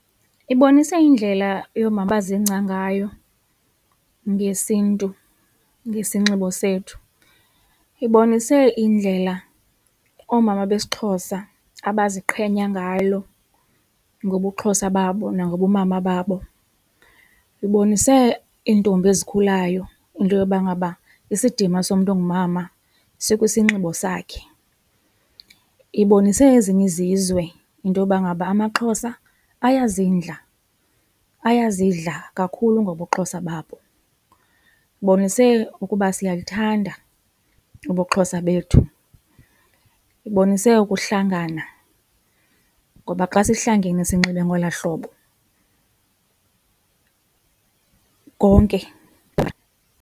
Ibonise indlela abazingca ngayo ngesiNtu ngesinxibo sethu, ibonise indlela omama besiXhosa abaziqhenya ngalo ngobuXhosa babo nangobumama babo. Ibonise iintombi ezikhulayo into yoba ngaba isidima somntu ongumama sikwisinxibo sakhe, ibonise ezinye izizwe intoba ngaba amaXhosa ayazindla, ayazidla kakhulu ngobuXhosa babo. Ibonise ukuba siyalithanda ubuXhosa bethu, ibonise ukuhlangana ngoba xa sihlangene sinxibe ngola hlobo konke.